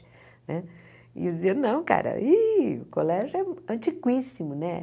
E eu dizia, não, cara, o colégio é antiquíssimo, né?